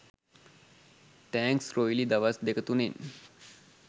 thanks රොයිලි දවස් දෙක තුනෙන්